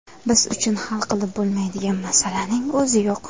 Biz uchun hal qilib bo‘lmaydigan masalaning o‘zi yo‘q.